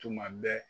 Tuma bɛɛ